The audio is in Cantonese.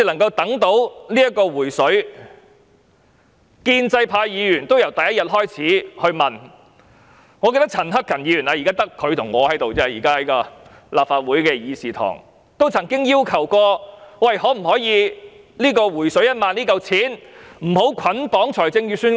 建制派議員由第一天開始便問，我記得陳克勤議員——現在只有他和我在立法會議事堂內——曾經要求政府可否不把"回水 "1 萬元這筆款項捆綁在預算案內。